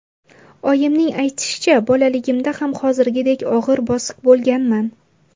Oyimning aytishicha, bolaligimda ham hozirgidek og‘ir-bosiq bo‘lganman.